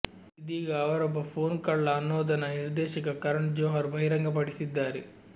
ಇದೀಗ ಅವರೊಬ್ಬ ಫೋನ್ ಕಳ್ಳ ಅನ್ನೋದನ್ನು ನಿರ್ದೇಶಕ ಕರಣ್ ಜೋಹರ್ ಬಹಿರಂಗಪಡಿಸಿದ್ದಾರೆ